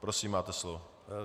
Prosím, máte slovo.